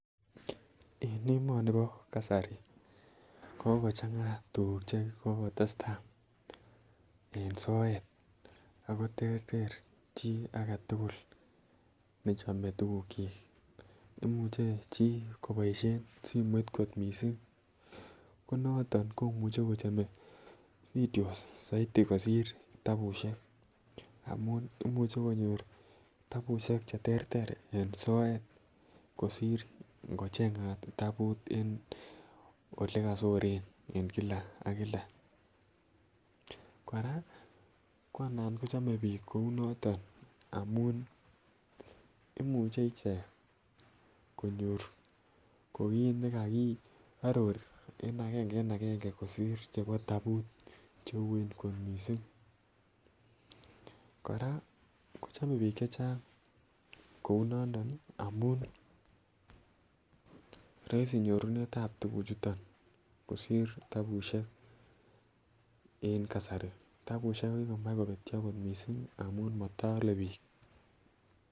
En emoni bo kasari ko kokochanga tukuk che kokotestai en soet ako terter chii agetukul nechome tukuk chik imuche chii koboishen simoit kot missing ko noton komuche kochome videos soiti kosir kitabushek amun imuche konyor kitabushek cheterter en soet kosir inkochengat kitabut en olekosoren en kila ak kila. Koraa ko anan kochome bik kou noton amun imuche ichek konyor ko kit nekokiaror en agenge en agenge kosir chebo tabut cheue kot missing. Koraa kochome bik chechang kounondo nii amun roisi nyorunetab tukuk chuton kosir tabushek en kasari, tabushek ko kikomach kobetyo kot missingamun moto ole bik.